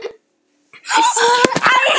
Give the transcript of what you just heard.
Síðan sagði hann